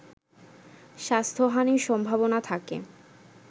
স্বাস্থ্যহানির সম্ভাবনা থাকে